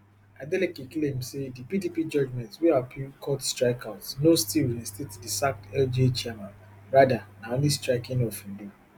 adeleke claim say di pdp judgement wey appeal court strike out no still reinstate di sacked lga chairmen rather na only striking off e do